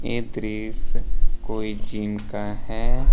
ये दृश कोई जिम का है।